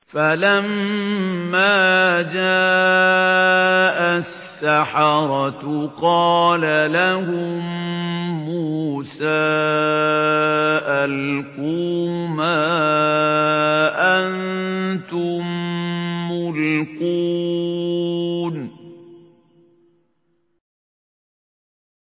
فَلَمَّا جَاءَ السَّحَرَةُ قَالَ لَهُم مُّوسَىٰ أَلْقُوا مَا أَنتُم مُّلْقُونَ